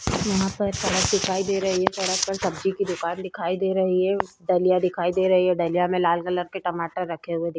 यहाँ पर सड़क दिखाई दे रही है सड़क पर सब्जी की दुकान दिखाई दे रही है दलिया दिखाई दे रही है। दलिया में लाल कलर के टमाटर रखे हुए दिख --